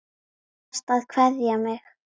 Þú varst að kveðja mig.